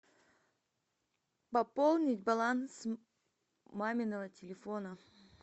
пополнить баланс маминого телефона